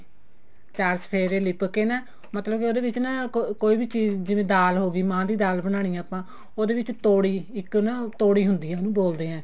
ਚਾਰ ਚੁਫ਼ੇਰੇ ਲਿੱਪ ਕੇ ਨਾ ਮਤਲਬ ਕੇ ਉਹਦੇ ਵਿੱਚ ਨਾ ਕੋਈ ਵੀ ਚੀਜ਼ ਜਿਵੇਂ ਦਾਲ ਹੋਗੀ ਮਹਾਂ ਦੀ ਦਲ ਬਣਾਉਣੀ ਆਂ ਆਪਾਂ ਉਹਦੇ ਵਿੱਚ ਤੋੜੀ ਇੱਕ ਨਾ ਤੋੜੀ ਹੁੰਦੀ ਆ ਉਹਨੂੰ ਬੋਲਦੇ ਹਾਂ